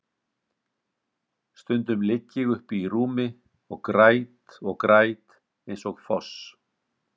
Stundum ligg ég uppi í rúmi og græt og græt eins og foss.